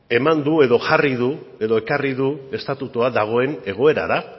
eman du edo jarri du edo ekarri du estatutua dagoen egoerara